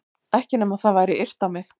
Ekki nema það væri yrt á mig.